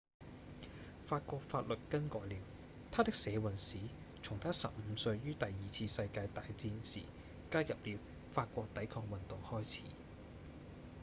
法國法律更改了他的社運史從他十五歲於第二次世界大戰時加入了法國抵抗運動開始